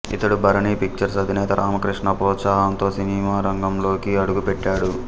ఇతడు భరణి పిక్చర్స్ అధినేత రామకృష్ణ ప్రోత్సాహంతో సినిమారంగంలోనికి అడుగుపెట్టాడు